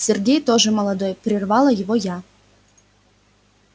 сергей тоже молодой прервала его я